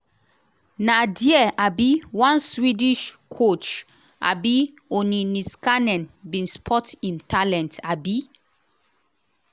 na dia um one swedish coach um bin spot im talent. um